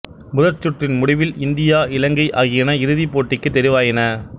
முதற் சுற்றின் முடிவில் இந்தியா இலங்கை ஆகியன இறுதிப் போட்டிக்குத் தெரிவாயின